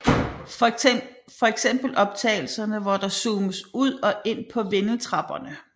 Fx optagelserne hvor der zoomes ud og ind på vindeltrapperne